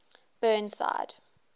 burnside